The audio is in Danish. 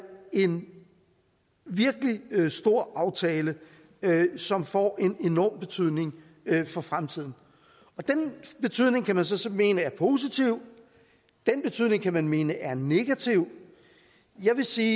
en virkelig stor aftale som får en enorm betydning for fremtiden den betydning kan man så så mene er positiv og den betydning kan man mene er negativ jeg vil sige